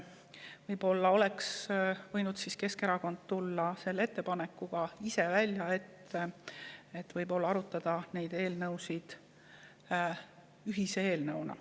Võib-olla oleks Keskerakond võinud ise tulla välja ettepanekuga arutada neid eelnõusid koos, ühise eelnõuna.